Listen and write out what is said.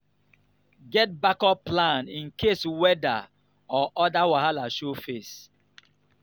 get backup plan in case weather or other wahala show face.